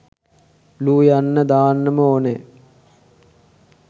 ‘ලු’ යන්න දාන්නම ඕනැ.